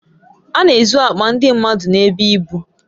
A n'ezu akpa ndi mmadu n'ebe ibu